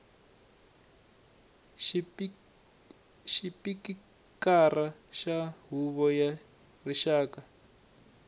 xipikara xa huvo ya rixaka